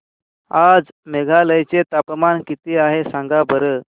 आज मेघालय चे तापमान किती आहे सांगा बरं